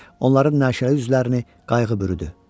Onların naşirə üzlərini qayğı bürüdü.